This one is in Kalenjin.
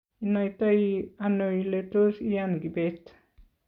inaitano ile tos iyan Kibet?